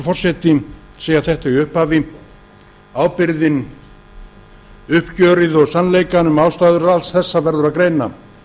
forseti segja þetta í upphafi ábyrgðina uppgjörið og sannleikann um ástæður alls þessa verður að greina